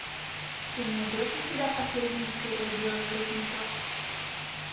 ты найдешь у себя последняя серия белый воротничок